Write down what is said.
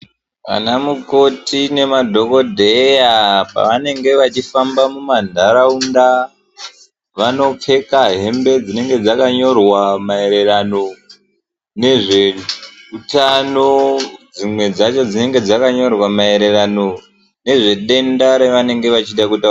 Ana mukhoti nemadhokodheya pavanenge vachifamba mumandaraunda vanopfeka hembe dzinenge dzakanyorwa maererano nezveutano dzimwe dzacho dzinenge dzakanyorwa maererano nezvedenda ravanenge vachida kuda..